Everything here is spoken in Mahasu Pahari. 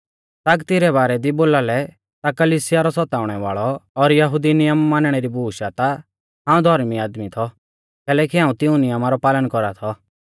तागती रै बारै दी बोलालै ता कलिसिया रौ सताउणै वाल़ौ और यहुदी नियम मानणै री बूश आ ता हाऊं धौर्मी आदमी थौ कैलैकि हाऊं तिऊं नियमा रौ पालन कौरा थौ